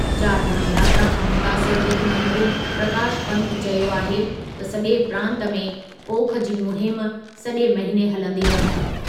चारधाम यात्रा खां मुतासिरु वित्त मंत्री प्रकाश पन्त चयो आहे त सॼे प्रांतु में पोख जी मुहिम सॼे महिने हलंदी रहंदी।